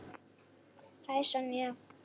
Hæ, Sonja.